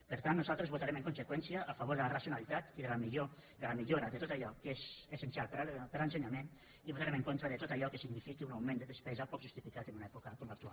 per tant nosaltres votarem en conseqüència a favor de la racionalitat i de la millora de tot allò que és essencial per a l’ensenyament i votarem en contra de tot allò que signifiqui un augment de despesa poc justificat en una època com l’actual